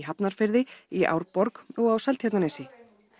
Hafnarfirði í Árborg og á Seltjarnarnesi